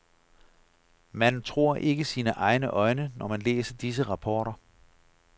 Man tror ikke sine egne øjne, når man læser disse rapporter.